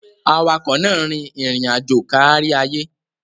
Awakọ̀ náà rìn irin aajo káríayé